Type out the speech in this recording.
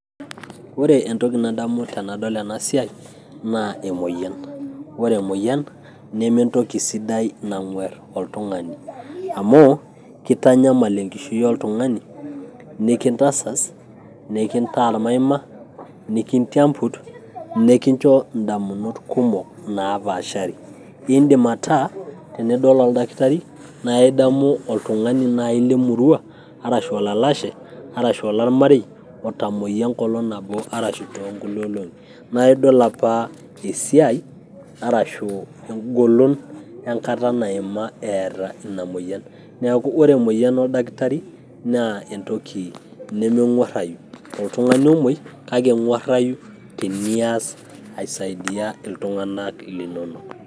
Ore entoki nadamu tenadol enasiai, naa emoyian. Ore emoyian, nementoki sidai nang'uer oltung'ani. Amu kitanyamal enkishui oltung'ani, nikintasas, nikintaa ormaima, nikintiambut, nikincho indamunot kumok napaashari. Idim ataa, tenidol oldakitari na idamu oltung'ani lai lemurua, arashu olalashe, arashu olormarei otamoyia enkolong' nabo arashu tonkulie olong'i. Na idol apa esiai arashu egolon enkata naima eeta ina moyian. Neeku ore emoyian oldakitari, naa entoki toltung'ani omoi kake eng'uarrayu tenias aisaidia iltung'anak linonok.